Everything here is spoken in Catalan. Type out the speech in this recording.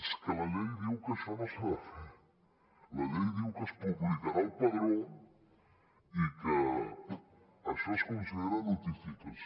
és que la llei diu que això no s’ha de fer la llei diu que es publicarà al padró i que això es considera notificació